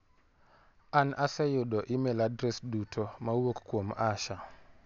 An aseyudo imel adres duto ma owuok kuom Asha.